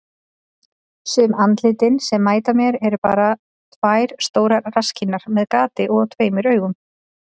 Sum andlitin sem mæta mér eru bara tvær stórar rasskinnar með gati og tveimur augum.